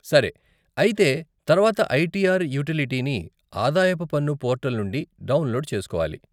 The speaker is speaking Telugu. సరే, అయితే తర్వాత ఐటీఆర్ యూటిలిటీని ఆదాయపు పన్ను పోర్టల్ నుండి డౌన్లోడ్ చేస్కోవాలి.